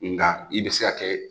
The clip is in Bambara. Nga i bɛ se ka kɛ